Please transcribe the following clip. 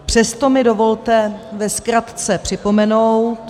Přesto mi dovolte ve zkratce připomenout...